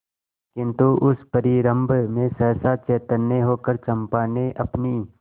किंतु उस परिरंभ में सहसा चैतन्य होकर चंपा ने अपनी